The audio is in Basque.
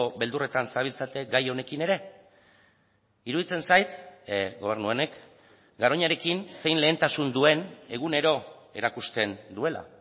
beldurretan zabiltzate gai honekin ere iruditzen zait gobernu honek garoñarekin zein lehentasun duen egunero erakusten duela